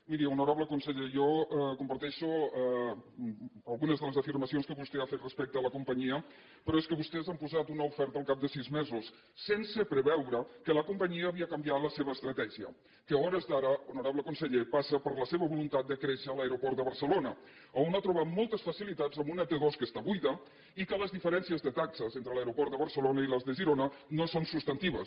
miri honorable conseller jo comparteixo algunes de les afirmacions que vostè ha fet respecte a la companyia però és que vostès han posat una oferta al cap de sis mesos sense preveure que la companyia havia canviat la seva estratègia que a hores d’ara honorable conseller passa per la seva voluntat de créixer a l’aeroport de barcelona on ha trobat moltes facilitats amb una t dos que està buida i que les diferències de taxes entre l’aeroport de barcelona i les de girona no són substantives